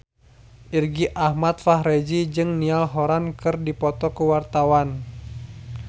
Irgi Ahmad Fahrezi jeung Niall Horran keur dipoto ku wartawan